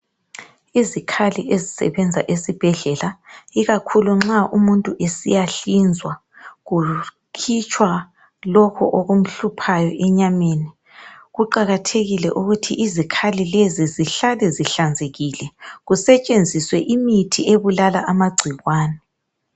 Izikhali ezisebenza esibhedlela ikakhulu nxa umuntu esiyahlinzwa, kukhitshwa lokhu okumhluphayo enyameni. Kuqakathekile ukuthi izikhali lezi zihlale zihlanzekile, kusetshenziswe imithi ebulala amagcikwane.